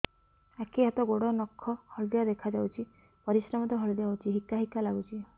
ଆଖି ହାତ ଗୋଡ଼ର ନଖ ହଳଦିଆ ଦେଖା ଯାଉଛି ପରିସ୍ରା ମଧ୍ୟ ହଳଦିଆ ହଉଛି ହିକା ହିକା ଲାଗୁଛି